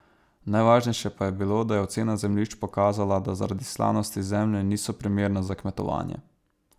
Najvažnejše pa je bilo, da je ocena zemljišč pokazala, da zaradi slanosti zemlje niso primerna za kmetovanje.